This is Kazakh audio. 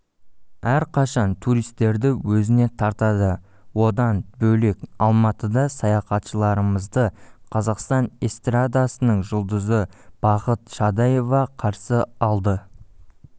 әрқашан туристерді өзіне тартады одан бөлек алматыда саяхатшыларымызды қазақстан эстрадасының жұлдызы бақыт шадаева қарсы алды